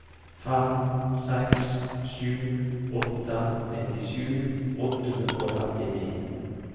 fem seks sju åtte nittisju åtte hundre og trettini